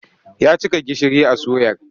Ya cika gishiri a suyar.